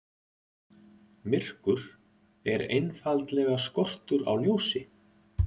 Myrkur er einfaldlega skortur á ljósi.